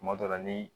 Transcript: Tuma dɔ la ni